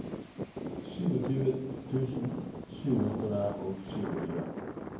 tjuesju tusen sju hundre og tjuesju